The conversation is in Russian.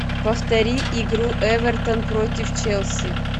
повтори игру эвертон против челси